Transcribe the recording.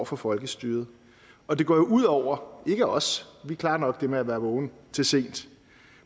for folkestyret og det går jo ud over ikke os vi klarer nok det med at være vågen til sent